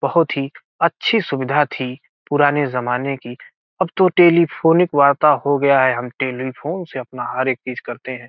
बहुत ही अच्छी सुविधा थी पुराने जमाने की अब तो टेलफानिक वार्ता हो गया है हम टेलएफोन से अपना हर एक चीज करते हैं।